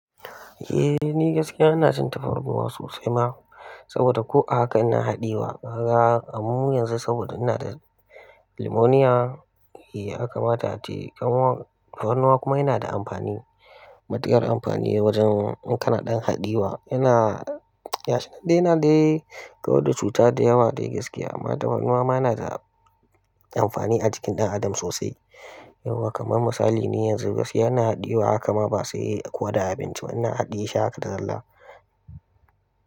Eh ni gaskiya ina cin tafarnuwa sosai ma, saboda ko a haka ina haɗi wa. Gara a mun yanzu saboda ina da pneumonia. Eh haka ma tace ƙanwar tafarnuwa kuma yana da amfani. Matuƙar amfani wajen in kana ɗan haɗiyewa, yana, ya shaɗai na ga dai kawai da cuta da yawa dai gaskiya amma tafarnuwa ma na da amfani a jikin ɗan adam sosai. Yauwa kamar misali ni yanzu gaskiya ina haɗiyewa haka ma ba, sai ko da abinci ba ina haɗiye sha haka da zalla.